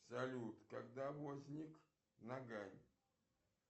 салют когда возник нагань